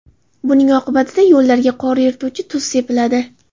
Buning oqibatida yo‘llarga qor erituvchi tuz sepiladi.